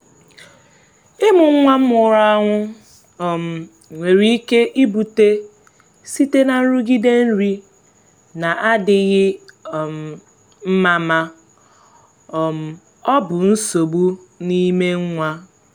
ịmụ nwa nwụrụ anwụ um nwere ike ibute site na nrụgide nri na-adịghị um mma ma um ọ bụ nsogbu n’ime nwa.